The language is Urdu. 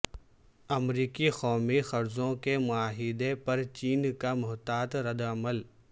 امریکی قومی قرضوں کے معاہدے پر چین کا محتاط ردعمل